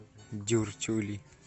дюртюли